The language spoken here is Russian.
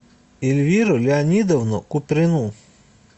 эльвиру леонидовну куприну